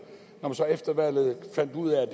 og så efter valget fandt ud af